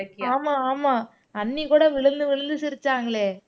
ஆமா ஆமா அண்ணி கூட விழுந்து விழுந்து சிரிச்சாங்களே